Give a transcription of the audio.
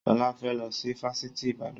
Sọlá fẹ́ lọ sí Fáṣítì Ibadan